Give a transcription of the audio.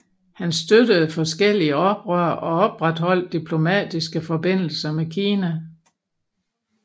Han støttede forskellige oprør og opretholdt diplomatiske forbindelser med Kina